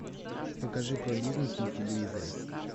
покажи про бизнес на телевизоре